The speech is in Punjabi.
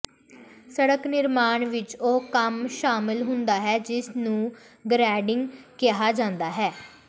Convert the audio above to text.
ਸੜਕ ਨਿਰਮਾਣ ਵਿੱਚ ਉਹ ਕੰਮ ਸ਼ਾਮਲ ਹੁੰਦਾ ਹੈ ਜਿਸ ਨੂੰ ਗਰੇਡਿੰਗ ਕਿਹਾ ਜਾਂਦਾ ਹੈ